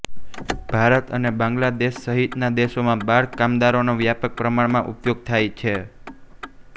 ભારત અને બાંગ્લાદેશસહિતના દેશોમાં બાળ કામદારોનો વ્યાપક પ્રમાણમાં ઉપયોગ થાય છે